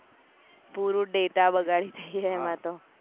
પૂરું data બગાડી થઇ જાય એમાં તો